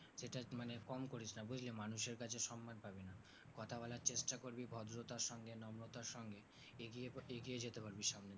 এটা মানে কম করিসনা বুঝলি মানুষের কাছে সম্মান পাবিনা কথা বলা চেষ্টা করবি ভদ্রতার সঙ্গে নম্রতার সঙ্গে এগিয়ে প এগিয়ে যেতে পারবি সামনে